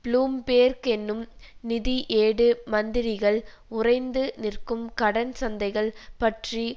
Bloomberg என்னும் நிதி ஏடு மந்திரிகள் உறைந்து நிற்கும் கடன் சந்தைகள் பற்றி